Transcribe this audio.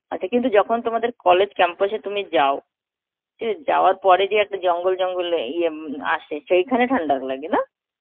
আচ্ছা কিন্তু যখন তোমাদের college campus এ তুমি যাও তো যাওয়ার পরে যে একটা জঙ্গল জঙ্গল ইয়ে উম আসে সেখানে ঠান্ডা লাগে, না?